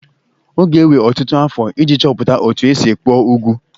Ọ ga-ewe ọtụtụ afọ iji chọpụta otú e si kpụọ ugwu